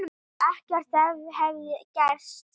Ekkert hefði gerst.